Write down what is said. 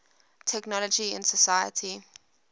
technology in society